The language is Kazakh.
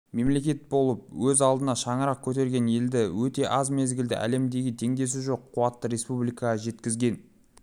мемлекет болып өз алдына шаңырақ көтерген елді өте аз мезгілде әлемдегі теңдесі жоқ қуатты республикаға жеткізген